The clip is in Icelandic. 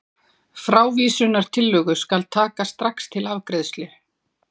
Frávísunartillögu skal taka strax til afgreiðslu.